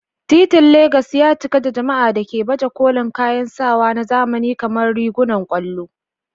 Titin Legas ya cika da jama'a da ke baje kolin kayan sawa na zamani kamar rigunan ƙwallo.